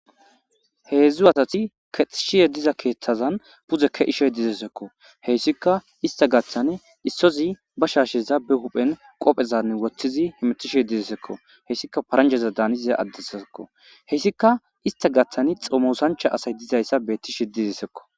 heedzdzu asati kexishiye diza keeththazan puzeke ishoy dizesekko heyssika ista gaththane issozi ba shaasheza be huphen qophezanne woththizi hemetishe dizesekko heyssika paranjeza daaniza addesaekko heyssika ista gaththani xomosancha asay dizayssa beetti shedizesekko